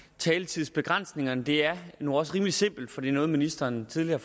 taletidsbegrænsningerne det er nu også rimelig simpelt for det er noget ministeren tidligere